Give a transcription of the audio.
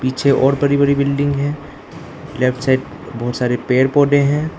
पीछे और बड़ी बड़ी बिल्डिंग है लेफ्ट साइड बहोत सारे पेड़ पौधे हैं।